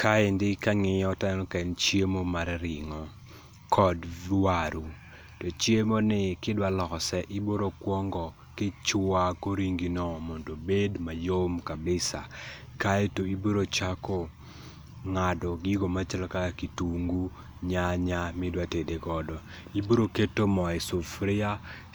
Kaendi kangiyo to aneno kaen chiemo mar ringo kod waru. To chiemo ni ka idwa lose ibiro kuongo kichwako ringi no mondo obed mayom kabisa kaito ibiro chako ngado gigo machalo kaka kitungu, nyanya midwa tede godo. Ibiro keto moo e sufria